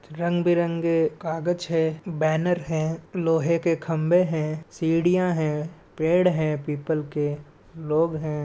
रंग-बिरंगे कागज है बैनर है लोहे के खम्भे है सीढ़ियां है पेड़ है पीपल के लोग हैं।